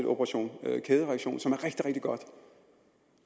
operation kædereaktion